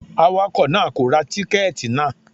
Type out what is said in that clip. Awakọ̀ náà kò ra tíkẹ́tì náà.